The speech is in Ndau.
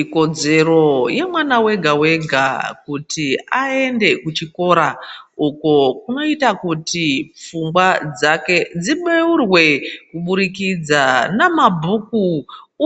Ikodzero yemwana wega wega kuti aende kuchikora uko kunoita kuti pfungwa dzake dzibeurwe kubudikidza namabhuku